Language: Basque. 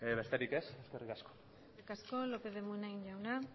besterik ez eskerrik asko eskerrik asko lópez de munain jauna